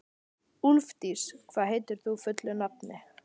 Úlfdís, hvað heitir þú fullu nafni?